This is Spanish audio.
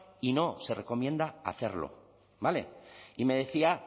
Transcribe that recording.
y no se recomienda hacerlo y me decía